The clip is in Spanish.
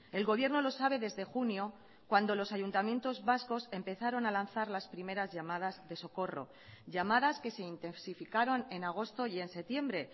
el gobierno lo sabe desde junio cuando los ayuntamientos vascos empezaron a lanzar las primeras llamadas de socorro llamadas que se intensificaron en agosto y en septiembre